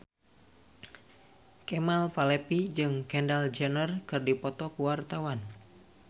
Kemal Palevi jeung Kendall Jenner keur dipoto ku wartawan